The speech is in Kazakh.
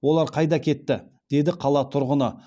олар қайда кетті деді қала тұрғыны